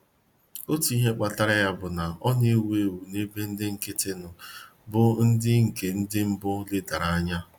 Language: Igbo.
Otu ihe kpatara ya bụ na ọ na-ewu ewu n'ebe ndị nkịtị nọ, bụ́ ndị nke ndị mbụ ledara anya.